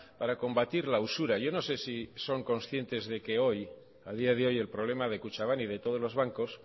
para combatir la usura yo no sé si son conscientes de que a día de hoy el problema de kutxabank y de todos los bancos